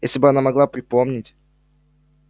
если бы она могла припомнить